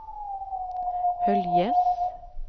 Höljes